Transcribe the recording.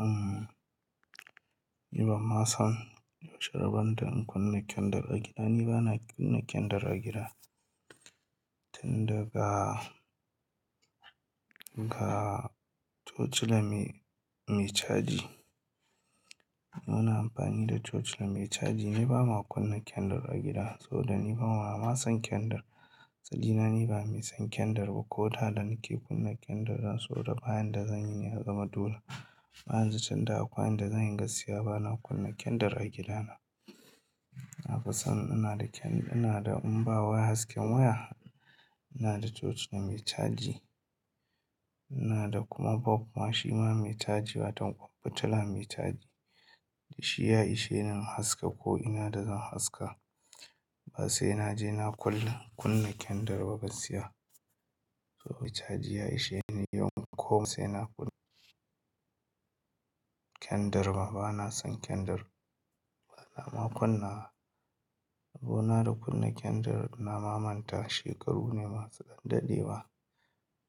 Am, ni ba ma san yaushe rabon da in kunna kendir a gida. Ni ba na kunna kendir a gida, tun daga, ga torchila me, mai caji. Muna amfani da torchila mai caji. Ne ba ma kuna kendir a gida saboda ni bana ma son kendir. Asali na ni ba mai son kendir ba ko da da nake kunna kendir dan saboda bayan da zan yi ne ya zama dula. Amma yanzu tun da akwai inda zan yi gaskiya bana kunna kendir a gidana. Na fi son ina da ken, ina da in bawai hasken waya, ina da torci mai caji. Ina da kuma babban shi ma mai caji, wato fitila mai caji. Da shi ya ishe ni in haska ko ina da zan haska. Ba sai na je na kul, kunna kendir ba gaskiya. Saboda caji ya ishe ni yanko ba sai na kunna kendir ba. Bana son kendir. Bana ma kunna. Rabo na da kunna kendir na mamanta shekaru ne masu ɗan dadewa,